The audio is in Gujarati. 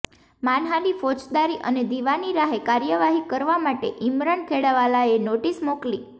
માનહાનિ ફોજદારી અને દિવાની રાહે કાર્યવાહી કરવા માટે ઈમરાન ખેડાવાલાએ નોટિસ મોકલી